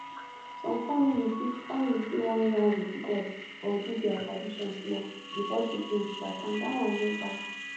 some family fit family fit wan yarn with god or do their tradition small before treatment start and that one no bad